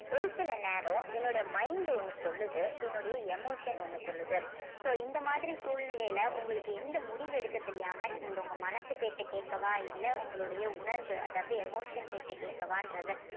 ஒரு சில நேரம் என்னோட mind ஒண்ணு சொல்லுது என்னுடைய emotion ஒண்ணு சொல்லுது so இந்த மாதிரி சூழ்நிலையில உங்களுக்கு எந்த முடிவு எடுக்க தெரியாம நீங்க உங்க மனசு பேச்சை கேட்கவா இல்ல உங்களுடைய உணர்வு அதாவது emotion பேச்சைக் கேட்கவான்றத